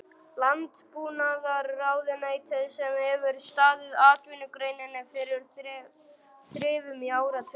Landbúnaðarráðuneytinu sem hefur staðið atvinnugreininni fyrir þrifum í áratugi!